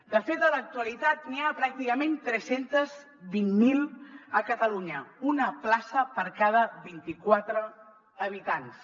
de fet a l’actualitat n’hi ha pràcticament tres cents i vint miler a catalunya una plaça per cada vint i quatre habitants